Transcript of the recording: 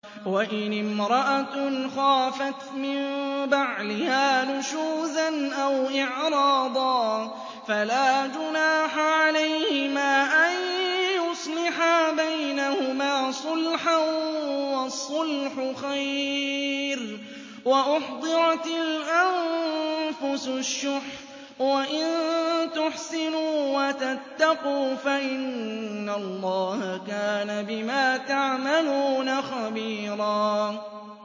وَإِنِ امْرَأَةٌ خَافَتْ مِن بَعْلِهَا نُشُوزًا أَوْ إِعْرَاضًا فَلَا جُنَاحَ عَلَيْهِمَا أَن يُصْلِحَا بَيْنَهُمَا صُلْحًا ۚ وَالصُّلْحُ خَيْرٌ ۗ وَأُحْضِرَتِ الْأَنفُسُ الشُّحَّ ۚ وَإِن تُحْسِنُوا وَتَتَّقُوا فَإِنَّ اللَّهَ كَانَ بِمَا تَعْمَلُونَ خَبِيرًا